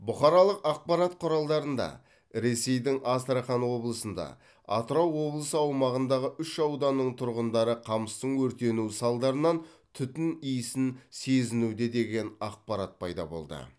бұқаралық ақпарат құралдарында ресейдің астрахан облысында атырау облысы аумағындағы үш ауданның тұрғындары қамыстың өртенуі салдарынан түтін иісін сезінуде деген ақпарат пайда болды